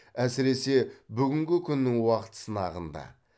әсіресе бүгінгі күннің уақыт сынағында